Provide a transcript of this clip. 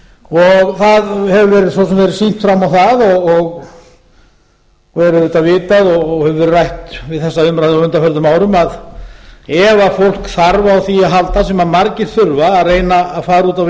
það hefur svo sem verið sýnt fram á það og er auðvitað vitað og hefur verið rætt við þessa umræðu á undanförnum árum að ef fólk þarf á því að halda sem margir þurfa að reyna að fara út á